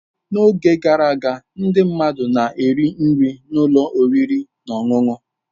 N'oge gara aga, ndị mmadụ na-eri nri ụlọ oriri na ọṅụṅụ.